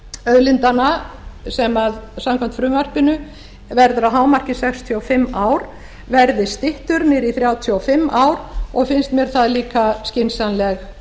auðlindanna sem samkvæmt frumvarpinu verður að hámarki sextíu og fimm ár verði styttur niður í þrjátíu og fimm ár og finnst mér það líka skynsamleg